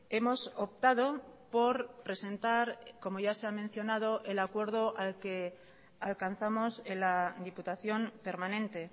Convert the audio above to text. hemos optado por presentar como ya se ha mencionado el acuerdo al que alcanzamos en la diputación permanente